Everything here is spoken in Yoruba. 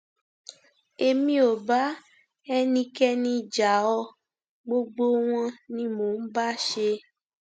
èmi ò bá ẹnikẹni jà ọ gbogbo wọn ni mò ń bá ṣe